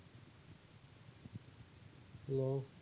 Hello